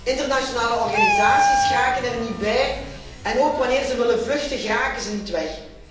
Internationale organisaties geraken er niet bij en ook wanneer ze willen vluchten, geraken ze niet weg.